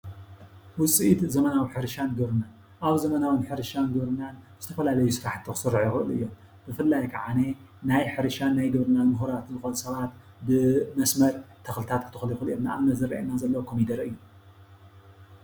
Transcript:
ውጽኢት ዘመናዊ ሕርሻን ግብርናን ኣብ ዘመናዊን ሕርሻን ግብርናን ዝተፈላለዩ ስራሕቲ ክስርሑ ይኽእሉ እዮም ። ብፍላይ ኸዓኒ ናይ ሕርሻን ናይ ግብርናን ምሁራት ዝኸኑ ሰባት ብመስመር ተኽልታት ክተኽሉ ይኽእሉ እዮም። ንኣብነት ዝረኣየና ዘሎ ኮሚደረ እዩ ።